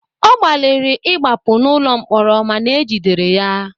Ọ gbalịrị ịgbapụ n'ụlọ mkpọrọ mana ejidere ya